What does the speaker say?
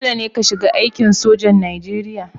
Dole ne ka shiga aikin sojan Najeriya